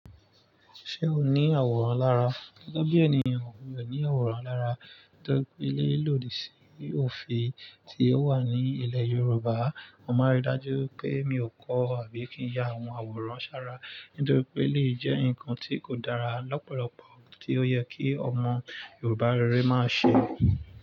Ṣé o ní àwòrán lára? Gẹ́gẹ́ bí ẹniyan, mi ò ní àwòrán lára torí pé lílọ̀dì sí òfin tí ó wà ní ilẹ̀ Yorùbá, mo máa rí dájú pé mi ò kọ́ àbí kí n ya àwọn àwòrán ṣàrà. Nítorí pé eleyi jẹ́ ǹkan tí kò dára lọ́pọ̀lọpọ̀ tí ó yẹ kí ọmọ Yorùbá rere má ṣe.